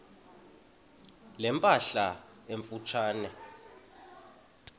ne mpahla emfutshane